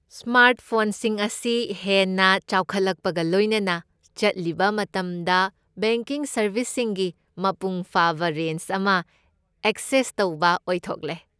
ꯁ꯭ꯃꯥꯔꯠꯐꯣꯟꯁꯤꯡ ꯑꯁꯤ ꯍꯦꯟꯅ ꯆꯥꯎꯈꯠꯂꯛꯄꯒ ꯂꯣꯏꯅꯅ ꯆꯠꯂꯤꯕ ꯃꯇꯝꯗ ꯕꯦꯡꯀꯤꯡ ꯁꯔꯕꯤꯁꯁꯤꯡꯒꯤ ꯃꯄꯨꯡ ꯐꯥꯕ ꯔꯦꯟꯖ ꯑꯃ ꯑꯦꯛꯁꯦꯁ ꯇꯧꯕ ꯑꯣꯏꯊꯣꯛꯂꯦ꯫